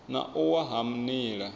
na u wa ha nila